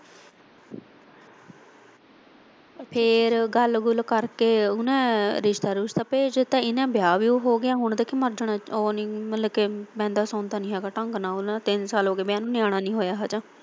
ਫਿਰ ਗੱਲ ਗੁਲ ਕਰ ਕੇ ਉਨਾਂ ਨੇ ਰਿਸਤਾ ਰੁਸਤਾ ਭੇਜ ਤਾਂ ਇਹ ਨਾ ਵਿਆਹ ਵੀ ਹੋਗਿਆ ਹੁਣ ਦੇਖੀ ਮਰਜਾਣਾ ਉਹ ਨੀ ਮਤਲਬ ਕੀ ਵਹਿੰਦਾ ਸੋਦਾ ਨੀ ਹੈਗਾ ਢੰਗ ਨਾਲ ਉਨਾਂ ਨਾਲ ਤਿੰਨ ਸਾਲ ਹੋਗੇ ਵਿਆਹ ਨੂੰ ਨਿਆਣਾ ਨੀ ਹੋਇਆ ਹਜੇ।